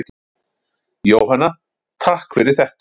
Jóhanna: Takk fyrir þetta.